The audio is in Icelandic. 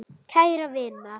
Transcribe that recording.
Að hún sé ljón.